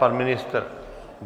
Pan ministr?